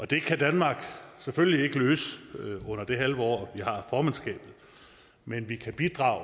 det kan danmark selvfølgelig ikke løse under det halve år vi har formandskabet men vi kan bidrage